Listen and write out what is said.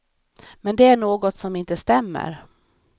Men det är något som inte stämmer.